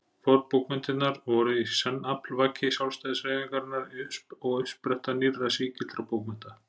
Fornbókmenntirnar voru í senn aflvaki sjálfstæðishreyfingarinnar og uppspretta nýrra sígildra bókmennta.